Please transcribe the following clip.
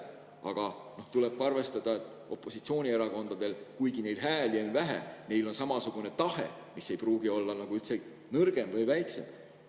Aga tuleb arvestada, et kuigi opositsioonierakondadel on hääli vähe, on neil samasugune tahe, mis ei pruugi olla nõrgem või väiksem.